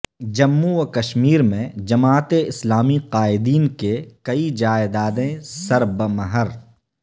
جموں و کشمیر میں جماعت اسلامی قائدین کے کئی جائیدادیں سربمہر